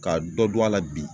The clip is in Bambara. Ka dɔ dun a la bi.